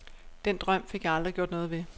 Den drøm fik jeg aldrig gjort noget ved.